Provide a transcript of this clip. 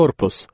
Korpus.